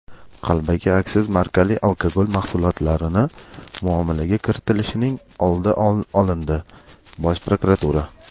Qalbaki aksiz markali alkogol mahsulotlarini muomalaga kiritilishining oldi olindi – Bosh prokuratura.